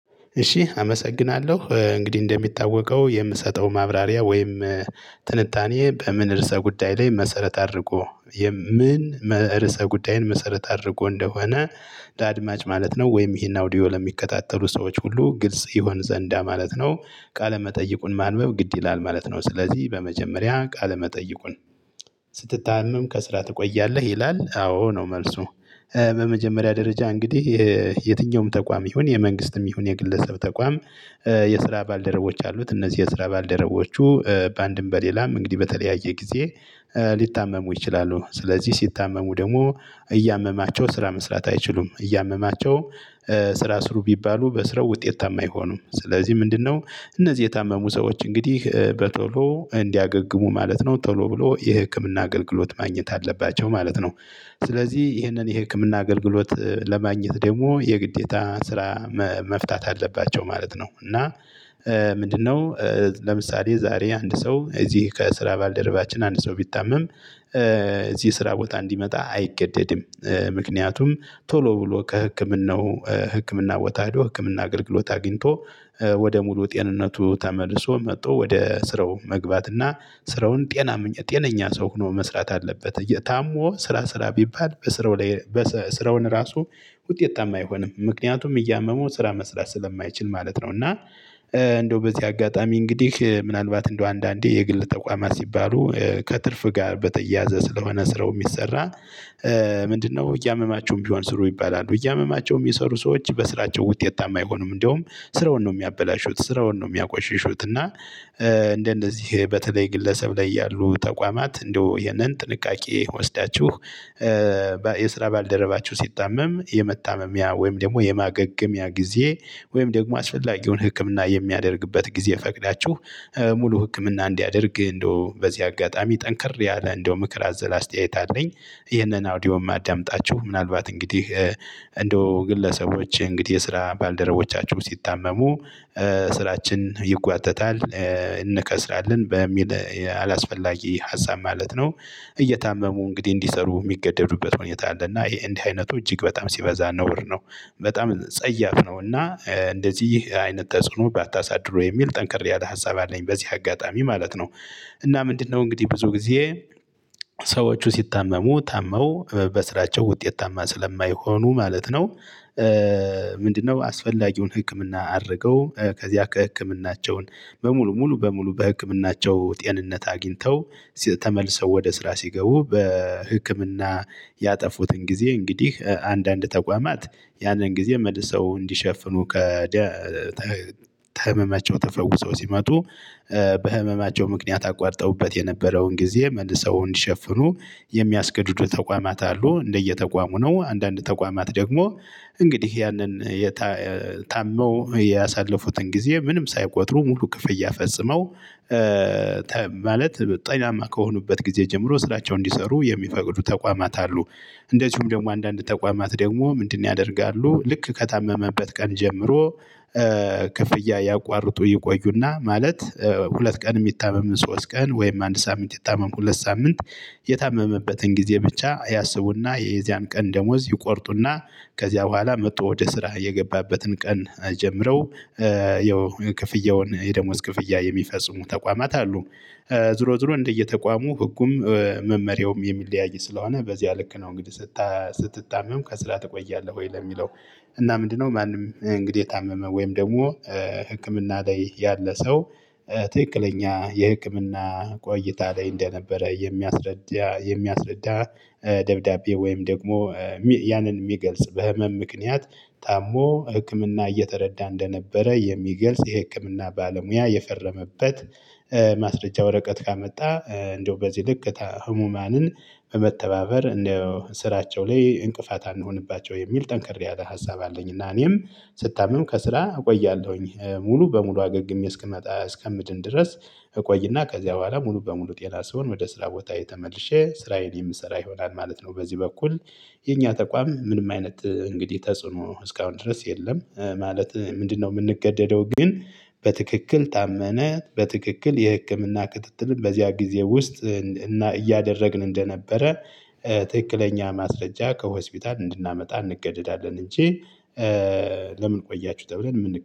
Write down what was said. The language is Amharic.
እሺ አመሰግናለሁ እንግዲህ እንደሚታወቀው የምሰጠው ማብራሪያ ወይም ትንታኔ በምን ርዕሰ ጉዳይ ላይ መሰረት አድርጎ የም ምን ርዕሰ ጉዳይን መሰረት አድርጎ እንደሆነ ለአድማጭ ማለት ነው ወይም ይሄን አውዲዮ ለሚከታተሉ ሰዎች ሁሉ ግልጽ ይሆን ዘንዳ ማለት ነው። ቃለ መጠይቁን ማንበብ ግድ ይላል ማለት ነው። ስለዚህ በመጀመሪያ ቃለ መጠይቁን ስትታመም ከስራ ትቆያለህ ይላል? አዎ ነው መልሱ። በመጀመሪያ ደረጃ እንግዲህ የትኛውም ተቋም ይሁን የመንግስትም ይሁን የግለሰብ ተቋም የስራ ባልደረቦች አሉት እነዚህ የስራ ባልደረቦቹ በአንድም በሌላም እንግዲህ በተለያየ ጊዜ ሊታመሙ ይችላሉ። ስለዚህ ሲታመሙ ደግሞ እያመማቸው ስራ መስራት አይችሉም እያመማቸው ስራ ስሩ ቢባሉ በስራው ውጤታማ አይሆኑም። ስለዚህ ምንድነው? እነዚህ የታመሙ ሰዎች እንግዲህ በቶሎ እንዲያገግሙ ማለት ነው ቶሎ ብሎ የህክምና አገልግሎት ማግኘት አለባቸው ማለት ነው። ስለዚህ ይህንን የህክምና አገልግሎት ለማግኘት ደግሞ የግዴታ ስራ መፍታት አለባቸው ማለት ነው። እና ምንድነው? ለምሳሌ ዛሬ አንድ ሰው እዚህ ከስራ ባልደረባችን አንድ ሰው ቢታመም እዚህ ስራ ቦታ እንዲመጣ አይገደድም። ምክንያቱም ቶሎ ብሎ ከህክምናው ህክምና ቦታ ሄዶ ህክምና አገልግሎት አግኝቶ ወደ ሙሉ ጤንነቱ ተመልሶ መጥቶ ወደ ስራው መግባት እና ስራውን ጤና ጤነኛ ሰው ሆኖ መስራት አለበት። እየ ታሞ ስራ ስራ ቢባል በስራው ላይ ስራውን ራሱ ውጤታ አይሆንም ምክንያቱም እያመመው ስራ መስራት ስለማይችል ማለት ነው። እና እንደው በዚህ አጋጣሚ እንግዲህ ምናልባት እንደው አንዳንዴ የግል ተቋማት ሲባሉ ከትርፍ ጋር በተያያዘ ስለሆነ ስራው የሚሰራ ምንድነው? እያመማችሁም ቢሆን ስሩ ይባላሉ እያመማቸውም የሚሰሩ ሰዎች በስራቸው ውጤት አይሆኑም እንደውም ስራውን ነው የሚያበላሹት ስራውን ነው የሚያቆሽሹት። እና እንደነዚህ በተለይ ግለሰብ ላይ ያሉ ተቋማት እንደው ይህንን ጥንቃቄ ወስዳችሁ የስራ ባልደረባቸው ሲታመም የመታመሚያ ወይም ደግሞ የማገገሚያ ጊዜ ወይም ደግሞ አስፈላጊውን ህክምና የሚያደርግበት ጊዜ ፈቅዳችሁ ሙሉ ህክምና እንዲያደርግ እንደው በዚህ አጋጣሚ ጠንከር ያለ እንደው ምክር አዘላ አስተያየት አለኝ። ይሄንን አውዲዮ የማዳምጣችሁ ምናልባት እንግዲህ እንደው ግለሰቦች እንግዲህ የስራ ባልደረቦቻችሁ ሲታመሙ ስራችን ይጓተታል እንከስራለን በሚል አላስፈላጊ ሀሳብ ማለት ነው። እየታመሙ እንግዲህ እንዲሰሩ የሚገደዱበት ሁኔታ እና ይሄ እንዲህ አይነቱ እጅግ በጣም ሲበዛ ነውር ብ ነው። በጣም ጸያፍ ነው እና እንደዚህ አይነት ተጽዕኖ ባታሳድሩ የሚል ጠንክር ያለ ሀሳብ አለኝ በዚህ አጋጣሚ ማለት ነው። እና ምንድነው? እንግዲህ ብዙ ጊዜ ሰዎች ሲታመሙ ታመው በስራቸው ውጤታማ ስለማይሆኑ ማለት ነው። አስፈላጊውን ህክምና አድርገው ከዚያ ከህክምናቸው በሙሉ ሙሉ በሙሉ በህክምናቸው ጤንነት አግኝተው ተመልሰው ወደ ስራ ሲገቡ በህክምና ያጠፉትን ጊዜ እንግዲህ አንዳንድ ተቋማት ያንን ጊዜ መልሰው እንዲሸፍኑ ከ ከሕመመቸው ተፈውሰው ሲመጡ በህመማቸው ምክንያት አቋርጠውበት የነበረውን ጊዜ መልሰው እንዲሸፍኑ የሚያስገዱዱ ተቋማት አሉ። እንደየተቋሙ ነው። አንዳንድ ተቋማት ደግሞ እንግዲህ ያንን የታ ታመው ያሳለፉትን ጊዜ ምንም ሳይቆጥሩ ሙሉ ክፍያ ፈጽመው ማለት ጤናማ ከሆኑበት ጊዜ ጀምሮ ስራቸው እንዲሰሩ የሚፈቅዱ ተቋማት አሉ። እንደዚሁም ደግሞ አንዳንድ ተቋማት ደግሞ ምንድነው? ያደርጋሉ ልክ ከታመመበት ቀን ጀምሮ ክፍያ ያቋርጡ ይቆዩና ማለት ሁለት ቀን የሚታመም ሶስት ቀን ወይም አንድ ሳምንት የታመመው ሁለት ሳምንት የታመመበትን ጊዜ ብቻ ያስቡና የዚያን ቀን ደሞዝ ይቆርጡና ከዚያ በኋላ መጥቶ ወደ ስራ የገባበትን ቀን ጀምረው የክፍያውን የደሞዝ ክፍያ የሚፈጽሙ ተቋማት አሉ። ዞሮ ዞሮ እንደየተቋሙ ህጉም መመሪያውም የሚለያይ ስለሆነ በዚህ ልክ ነው። እንግዲህ ስትታመም ከስራ ትቆያለህ ወይ ለሚለው? እና ምንድነው? ማንም እንግዲህ የታመመ ወይም ደግሞ ላይ ያለ ሰው ትክክለኛ የህክምና ቆይታ ላይ እንደነበረ የሚያስረዳ የሚያስረዳ ደብዳቤ ወይም ደግሞ ያንን የሚገልጽ በህመም ምክንያት ታሞ ህክምና እየተረዳ እንደነበረ የሚገልጽ የህክምና ባለሙያ የፈረመበት ማስረጃ ወረቀት ካመጣ እንደው በዚህ ልክ ህሙማንን በመተባበር እንደ ስራቸው ላይ እንቅፋት አንሆንባቸው የሚል ጠንክር ያለ ሀሳብ አለኝ። እና እኔም ስታምም ከስራ እቆያለሁኝ ሙሉ በሙሉ አገግሜ ግን እስክመጣ እስከምድን ድረስ እቆይና ከዚያ በኋላ ሙሉ በሙሉ ጤና ስሆን ወደ ስራ ቦታዬ ተመልሼ ስራዬን የምሰራ ይሆናል ማለት ነው። በዚህ በኩል። የኛ ተቋም ምንም አይነት እንግዲህ ተጽዕኖ እስካሁን ድረስ የለም። ማለት ምንድነው? የምንገደደው ግን በትክክል ታመመ በትክክል የህክምና ክትትልን በዚያ ጊዜ ውስጥ እያደረግን እንደነበረ ትክክለኛ ማስረጃ ከሆስፒታል እንድናመጣ እንገደዳለን እንጂ። ለምን? ቆያችሁ ተብለን የምን